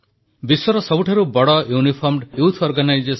ଏକଥା ତ ଆମେ ସମସ୍ତେ ଜାଣିଛୁ ଯେ ଏନସିସି ଅର୍ଥାତ୍ ନ୍ୟାସନାଲ କ୍ୟାଡେଟ କ୍ରପ୍ସ